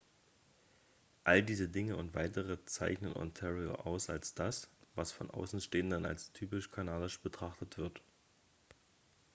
all diese dinge und weitere zeichnen ontario aus als das was von außenstehenden als typisch kanadisch betrachtet wird